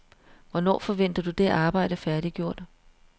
Hvornår forventer du det arbejde færdiggjort?